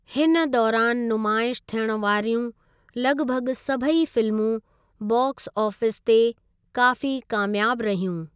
हिन दौरानि नुमाइश थियणु वारियूं लग॒भॻु सभई फिल्मूं बॉक्स ऑफिस ते काफ़ी क़ामयाबु रहियूं।